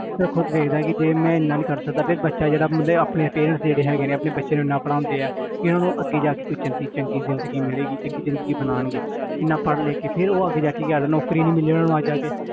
ਉਹ ਖੁੱਦ ਵੇਖਦਾ ਕਿ ਜੇ ਮੈਂ ਇੰਨਾ ਨੀ ਕਰ ਸਕਦਾ ਫਿਰ ਬੱਚਾ ਜਿਹੜਾ ਉਹਦੇ ਆਪਣੇ parents ਜਿਹੜੇ ਹੈਗੇ ਨੇ ਆਪਣੇ ਬੱਚੇ ਨੂੰ ਇੰਨਾ ਪੜ੍ਹਾਉਂਦੇ ਹੈ ਕਿ ਇਹਨਾਂ ਨੂੰ ਅੱਗੇ ਜਾ ਕੇ ਕੋਈ ਚੰਗੀ ਚੰਗੀ ਜ਼ਿੰਦਗੀ ਮਿਲੇਗੀ ਚੰਗੀ ਜ਼ਿੰਦਗੀ ਬਣਾਉਣਗੇ ਇੰਨਾ ਪੜ੍ਹ ਲਿਖ ਕੇ ਫਿਰ ਉਹ ਅੱਗੇ ਜਾ ਕੇ ਕੀ ਕਰਦੇ ਨੇ ਨੌਕਰੀ ਨੀ ਮਿਲਦੀ ਉੁਹਨਾਂ ਨੂੰ ਆ ਜਾ ਕੇ